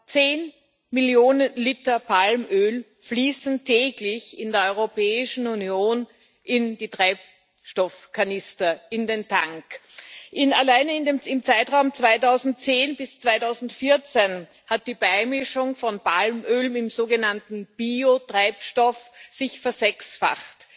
Zehn Millionen Liter Palmöl fließen täglich in der Europäischen Union in die Treibstoffkanister, in den Tank. Alleine im Zeitraum 2010 bis 2014 hat die Beimischung von Palmöl im sogenannten Biotreibstoff sich versechsfacht.